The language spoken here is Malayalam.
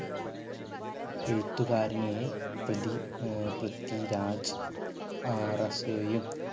എഴുത്തുകാരനെ പ്രതി ഏർ പൃഥിരാജ്